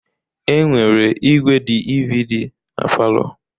Enwere igwé DVD na palọ.